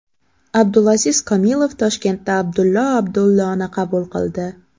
Abdulaziz Komilov Toshkentda Abdullo Abdulloni qabul qildi.